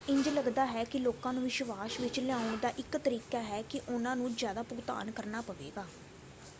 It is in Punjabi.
ਇੰਜ ਲੱਗਦਾ ਹੈ ਕਿ ਲੋਕਾਂ ਨੂੰ ਵਿਸ਼ਵਾਸ ਵਿੱਚ ਲਿਆਉਣ ਦਾ ਇੱਕ ਤਰੀਕਾ ਹੈ ਕਿ ਉਹਨਾਂ ਨੂੰ ਜ਼ਿਆਦਾ ਭੁਗਤਾਨ ਕਰਨਾ ਪਵੇਗਾ।